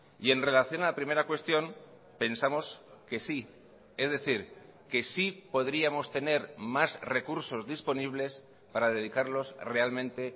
y en relación a la primera cuestión pensamos que sí es decir que sí podríamos tener más recursos disponibles para dedicarlos realmente